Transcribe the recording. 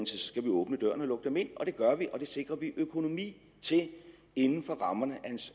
så skal åbne døren og lukke dem ind og det gør vi og det sikrer vi økonomi til inden for rammerne